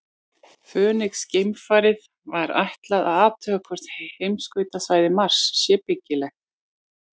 Fönix-geimfarinu var ætlað að athuga hvort heimskautasvæði Mars séu byggileg.